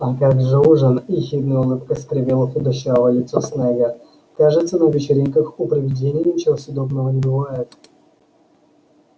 а как же ужин ехидная улыбка скривила худощавое лицо снегга кажется на вечеринках у привидений ничего съедобного не бывает